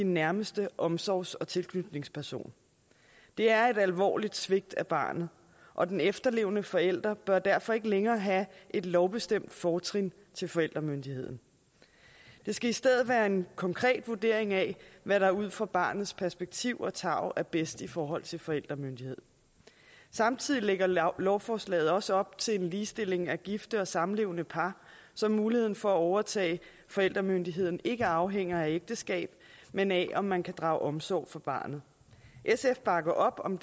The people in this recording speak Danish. nærmeste omsorgs og tilknytningsperson det er et alvorligt svigt af barnet og den efterlevende forælder bør derfor ikke længere have et lovbestemt fortrin til forældremyndigheden det skal i stedet være en konkret vurdering af hvad der ud fra barnets perspektiv og tarv er bedst i forhold til forældremyndighed samtidig lægger lovforslaget også op til en ligestilling af gifte og samlevende par så muligheden for at overtage forældremyndigheden ikke afhænger af ægteskab men af om man kan drage omsorg for barnet sf bakker op om